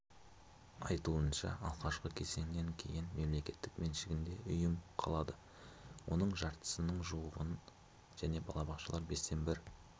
айтуынша алғашқы кезеңнен кейін мемлекет меншігінде ұйым қалады оның жартысына жуығын немесе балабақшалар бестен бір